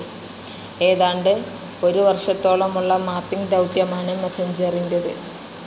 ഏതാണ്ട് ഒരു വർഷത്തോളമുള്ള മാപ്പിംഗ്‌ ദൌത്യമാണ് മെസഞ്ചറിൻ്റെത്.